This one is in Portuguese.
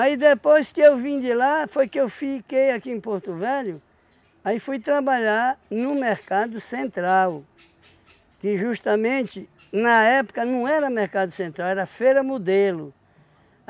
Aí depois que eu vim de lá, foi que eu fiquei aqui em Porto Velho, aí fui trabalhar no Mercado Central, que justamente na época não era Mercado Central, era Feira Modelo.